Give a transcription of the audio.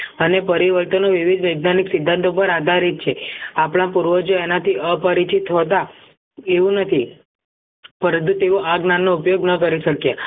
અને પરિવર્તનો વિવિધ વૈજ્ઞાનિક સીધંતો પર આધારિત છે આપણા પૂર્વજો એના થી અપરિચિત હતા એવું નથી પરંતુ તેઓ આ જ્ઞાન નો ઉપયોગ નાં કરી શક્યા